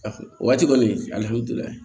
O waati kɔni alihamudulilayi